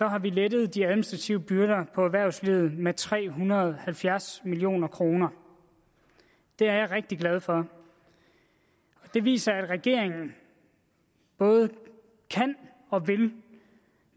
har vi lettet de administrative byrder for erhvervslivet med tre hundrede og halvfjerds million kroner det er jeg rigtig glad for det viser at regeringen både kan og vil